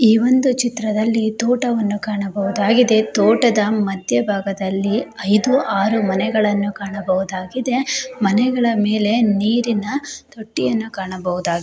ಈ ಒಂದು ಚಿತ್ರದಲ್ಲಿ ತೋಟವನ್ನು ಕಾಣಬಹುದಾಗಿದೆ ತೋಟದ ಮಧ್ಯಭಾಗದಲ್ಲಿ ಇದು ಆರು ಮನೆಗಳನ್ನು ಕಾಣಬಹುದಾಗಿದೆ. ಮನೆಗಳ ಮೇಲೆ ನೀರಿನ ತೊಟ್ಟಿಯನ್ನು ಕಾಣಬಹುದಾಗಿದೆ.